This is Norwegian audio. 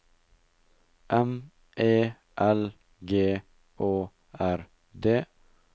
M E L G Å R D